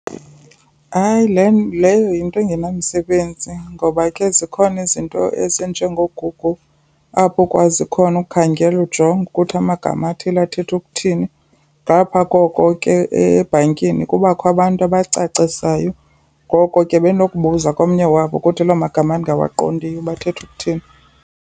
Hayi leyo yinto engenamsebenzi ngoba ke zikhona izinto ezinje ngoGoogle apho ukwazi khona ukukhangela ujonge ukuthi amagama athile athetha ukuthini. Ngapha koko ke ebhankini kubakho abantu abacacisayo, ngoko ke bendinokubuza komnye wabo ukuthi loo magama endingawaqondiyo uba athetha ukuthini.